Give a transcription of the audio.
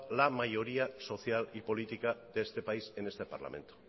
la mayoría social y política de este país en este parlamento